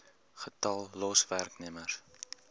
getal los werknemers